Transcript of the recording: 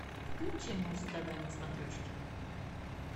включи муз тв на смотрешке